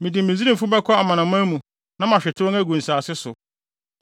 Mede Misraimfo bɛkɔ amanaman mu na mahwete wɔn agu nsase so.